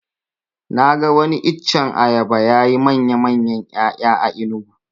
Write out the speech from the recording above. Na ga wani iccen ayaba yayi manyan ƴaya a enugu